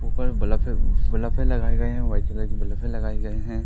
ऊपर बल्फे-बल्फे लगाए गए है वाइट कलर की बल्फे लगाए गए है।